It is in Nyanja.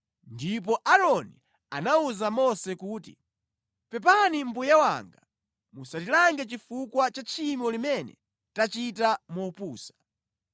ndipo Aaroni anawuza Mose kuti, “Pepani mbuye wanga, musatilange chifukwa cha tchimo limene tachita mopusa.